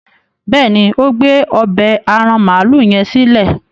béèni o gbé ọbẹ́ aràn maalu yen silẹ.